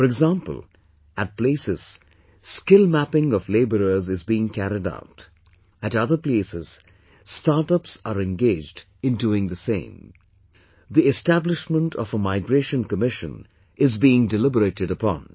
For example, at places skill mapping of labourers is being carried out; at other places start ups are engaged in doing the same...the establishment of a migration commission is being deliberated upon